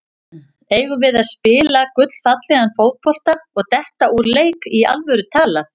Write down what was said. Eigum við að spila gullfallegan fótbolta og detta úr leik, í alvöru talað?